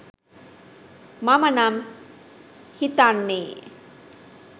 මම නම් හිතන්නේ